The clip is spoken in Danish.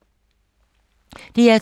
DR2